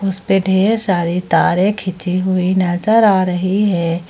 उसपे ढेर सारे तारे खींची हुई नजर आ रही है।